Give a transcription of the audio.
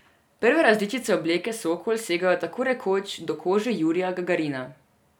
Prve različice obleke Sokol segajo tako rekoč do kože Jurija Gagarina.